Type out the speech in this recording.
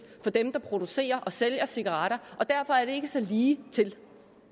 for dem der producerer og sælger cigaretter derfor er det ikke så ligetil